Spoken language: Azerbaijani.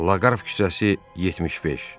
Laqar küçəsi 75.